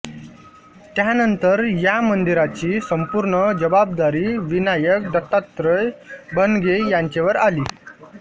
त्यानंतर या मंदिराची संपूर्ण जबाबदारी विनायक दत्तात्रय भणगे यांचेवर आली